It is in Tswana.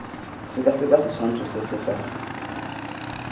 sekaseka setshwantsho se se fa